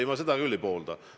Ei, ma seda küll ei poolda.